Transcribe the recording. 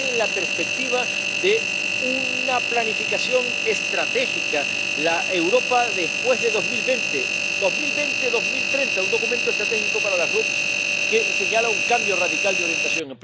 Y lo hace en la perspectiva de una planificación estratégica la Europa después de 2020, entre 2020 y 2030, un documento estratégico para las RUP, que señala un cambio radical de orientación.